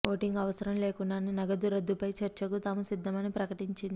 voting అవసరం లేకుండానే నగదు రద్దుపై చర్చకు తాము సిద్ధమని ప్రకటించింది